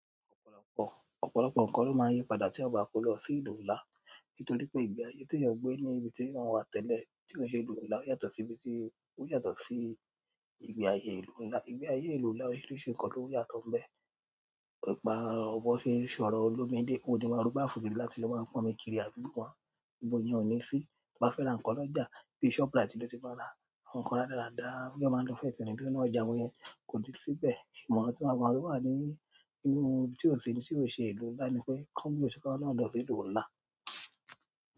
Ọ̀pọ̀lọpọ̀, ọ̀pọ̀lọpọ̀ nkàn ló máa n yípadà tíyan bá kó lọ sí ìlú nlá nítorí pé ìgbé ayé teèyàn gbé ní ibi teeyan wà tẹ́lẹ̀ tí ò n ṣe ìlú nlá yàtọ̀ síbi tí, ò yàtọ̀ sí ìgbé ayé ìlú nlá. Ìgbé ayé ìlú nlá óriṣirisi nkan ló yàtọ̀ n bẹ. Ọ̀pá bọ́n ṣe n sọ̀rọ̀ olómi dé, wòn o ni máa rù báafu rin látí ló máa pọnmi kiri àdúgbò won. Gbogbo iyẹn ò ní sí. Bá fẹ́ ra nkàn lọ́jà, bí i shoprite ló ti máa ra a. Àwọn nkàn radarada beeyań maa n lò fẹ́serin nínú ọjà wọ́nyẹn kò nì sí n bẹ̀. Ìmọ̀rán tí wọ́n máa pa wá ní inú ohun tí ó ṣe, tí ò ṣe ìlú ńlá ni pé, kàn bí o ṣe ká lọ́nà lọ sí ìlú ńlá.